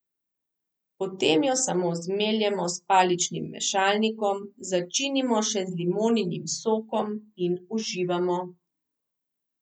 Potem jo samo zmeljemo s paličnim mešalnikom, začinimo še z limoninim sokom in uživamo!